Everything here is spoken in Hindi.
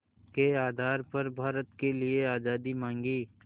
के आधार पर भारत के लिए आज़ादी मांगी